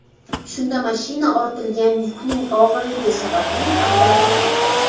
Shunda mashina ortilgan yukning og‘irligi sababli ag‘darilib ketgan.